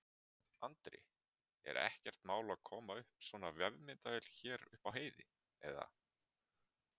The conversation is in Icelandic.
Andri: Er ekkert mál að koma upp svona vefmyndavél hérna uppi á heiði, eða?